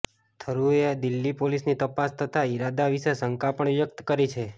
થરૂરે દિલ્હી પોલીસની તપાસ તથા ઈરાદા વિશે શંકા પણ વ્યક્ત કરી છે